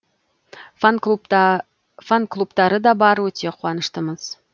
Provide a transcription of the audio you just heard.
фан клубтары да бар өте қуаныштымыз